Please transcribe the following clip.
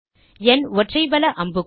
nஒற்றை வல அம்புக்குறி